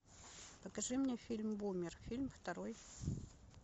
покажи мне фильм бумер фильм второй